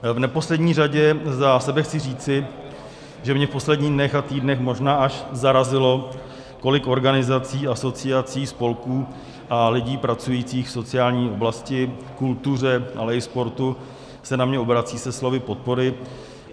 V neposlední řadě za sebe chci říci, že mě v posledních dnech a týdnech možná až zarazilo kolik organizací, asociací, spolků a lidí pracujících v sociální oblasti, kultuře, ale i sportu se na mě obrací se slovy podpory.